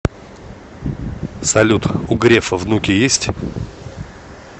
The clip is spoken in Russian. салют у грефа внуки есть